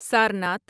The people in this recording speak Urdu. سارناتھ